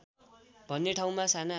भन्ने ठाउँमा साना